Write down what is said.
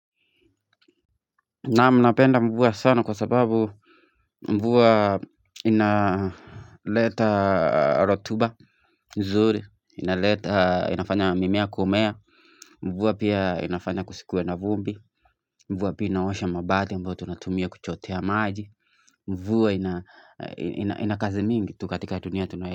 Naam mnapenda mvua sana kwa sababu mvua inaleta rotuba nzuri inaleta inafanya mimea kumea mvua pia inafanya kusikuwe na vumbi mvua pia inaosha mabati ambayo tunatumia kuchotea maji mvua ina ina kazi mingi tu katika dunia tunayo.